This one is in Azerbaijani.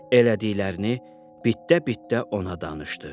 elədiklərini bitdə-bitdə ona danışdı.